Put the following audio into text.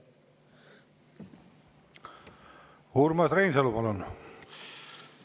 Urmas Reinsalu, palun!